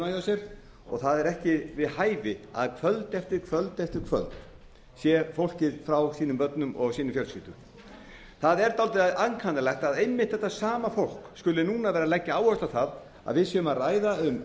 sér og það er ekki við hæfi að kvöld eftir kvöld eftir kvöld sé fólkið frá sínum börnum og sinni fjölskyldu það er dálítið ankannalegt að einmitt þetta sama fólk skuli núna leggja áherslu á að við séum að ræða um